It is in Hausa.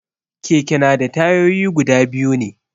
Keke na da tayoyi guda biyu ne